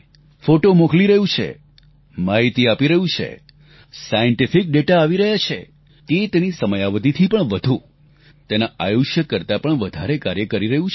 photo મોકલી રહ્યું છે માહિતી આપી રહ્યું છે સાન્ટિફિક ડેટા આવી રહ્યા છે તે તેની સમયાવધિથી પણ વધુ તેના આયુષ્ય કરતાં પણ વધારે કાર્ય કરી રહ્યું છે